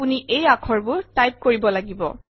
আপুন্ এই আখৰবোৰ টাইপ কৰিব লাগিব